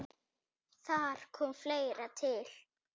Þar kom fleira til.